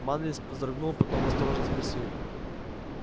манлис вздрогнул потом осторожно спросил